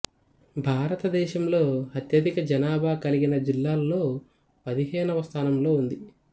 భారతదేశంలో అత్యధిక జనాభా కలిగిన జిల్లాల్లో పదిహేనవ స్థానంలో ఉంది